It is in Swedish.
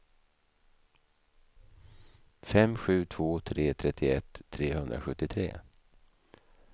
fem sju två tre trettioett trehundrasjuttiotre